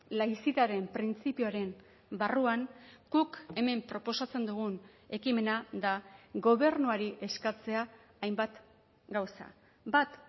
laizitaren printzipioaren barruan guk hemen proposatzen dugun ekimena da gobernuari eskatzea hainbat gauza bat